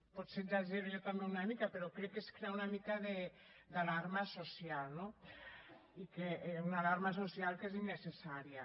potser exagero jo també una mica però crec que és crear una mica d’alarma social no i una alarma social que és innecessària